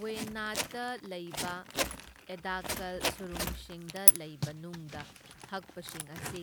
ꯋꯌꯅꯥꯗꯇ ꯂꯩꯕ ꯑꯦꯗꯥꯛꯀꯜ ꯁꯨꯔꯨꯡꯁꯤꯡꯗ ꯂꯩꯕ ꯅꯨꯡꯗ ꯍꯛꯄꯁꯤꯡ ꯑꯁꯤ